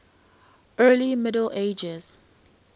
early middle ages